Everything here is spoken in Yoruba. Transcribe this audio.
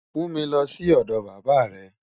Mú mi lọ́ sí ọdọ bàbá rẹ̀.